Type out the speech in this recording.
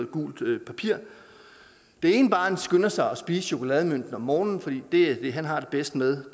guldpapir det ene barn skynder sig at spise chokolademønten om morgenen for det er det han har det bedst med